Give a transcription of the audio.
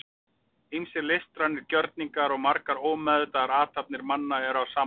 Ýmsir listrænir gjörningar og margar ómeðvitaðar athafnir manna eru af sama toga.